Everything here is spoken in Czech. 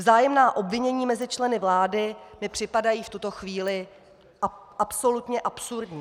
Vzájemná obvinění mezi členy vlády mi připadají v tuto chvíli absolutně absurdní!